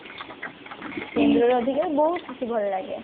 ସିନ୍ଦୁରର ଅଧିକାର ବହୁତ କିଛି ଭଲ ଲାଗେ